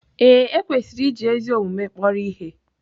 Ee, e kwesịrị iji ezi omume kpọrọ ihe.